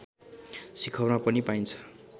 शिखरमा पनि पाइन्छ